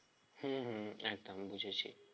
হম হম হম একদমই বুঝেছি